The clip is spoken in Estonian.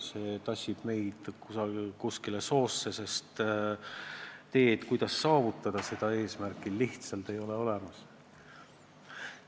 See tassib meid kuskile soosse, sest teed, kuidas seda eesmärki saavutada, ei ole lihtsalt olemas.